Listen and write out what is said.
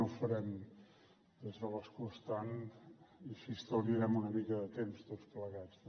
ho farem des de l’escó estant i així estalviarem una mica de temps tots plegats també